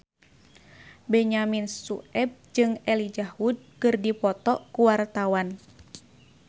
Benyamin Sueb jeung Elijah Wood keur dipoto ku wartawan